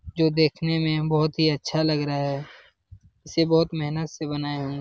जो देखने में बहोत ही अच्छा लग रहा है इसे बहुत मेहनत से बनाया हूँ --